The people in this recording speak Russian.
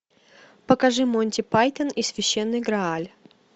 покажи монти пайтон и священный грааль